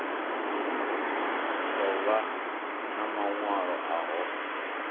ḓo vhan a maṅwaelo aho